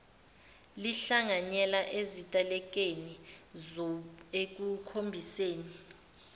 lihlanganyele ezitelekeni ekukhombiseni